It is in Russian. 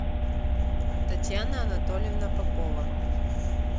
татьяна анатольевна попова